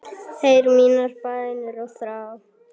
Heyr mínar bænir og þrá.